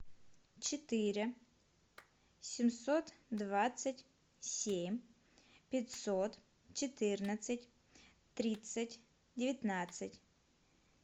четыре семьсот двадцать семь пятьсот четырнадцать тридцать девятнадцать